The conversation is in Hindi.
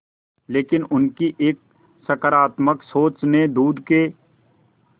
लेकिन उनकी एक सकरात्मक सोच ने दूध के